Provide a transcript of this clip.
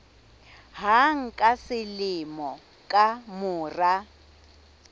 hang ka selemo ka mora